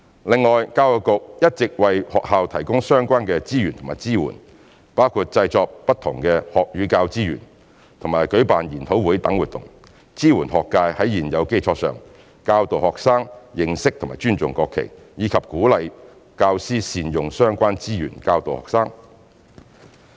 另外，教育局一直為學校提供相關資源和支援，包括製作不同學與教資源和舉辦研討會等活動，支援學界在現有基礎上教導學生認識和尊重國旗，以及鼓勵教師善用相關資源教導學生。